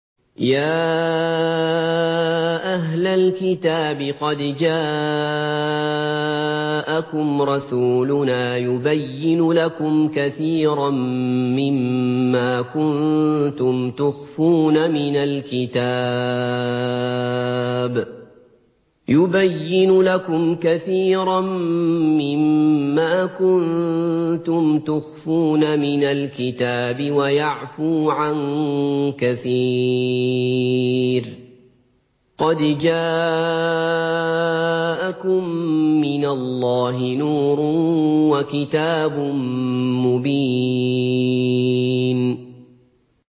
يَا أَهْلَ الْكِتَابِ قَدْ جَاءَكُمْ رَسُولُنَا يُبَيِّنُ لَكُمْ كَثِيرًا مِّمَّا كُنتُمْ تُخْفُونَ مِنَ الْكِتَابِ وَيَعْفُو عَن كَثِيرٍ ۚ قَدْ جَاءَكُم مِّنَ اللَّهِ نُورٌ وَكِتَابٌ مُّبِينٌ